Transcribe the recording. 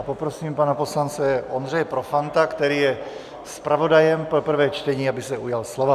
A poprosím pana poslance Ondřeje Profanta, který je zpravodajem pro prvé čtení, aby se ujal slova.